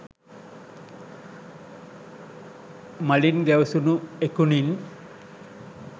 මලින් ගැවසුණු එකුනින්